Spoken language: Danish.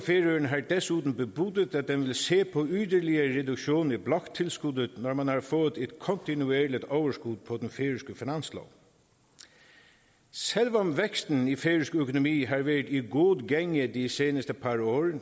desuden bebudet at den vil se på yderligere reduktion i bloktilskuddet når man har fået et kontinuerligt overskud på den færøske finanslov selv om væksten i færøsk økonomi har været i god gænge de seneste par